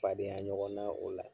Fadenya ɲɔgɔn na o la